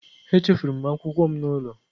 Echefuru m akwụkwọ m n'ụlọ